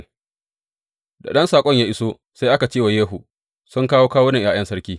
Da ɗan saƙon ya iso, sai aka ce wa Yehu, Sun kawo kawunan ’ya’yan sarki.